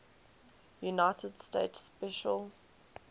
united states special